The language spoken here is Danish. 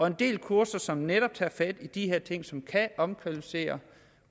en del kurser som netop tager fat i de her ting som kan omkvalificere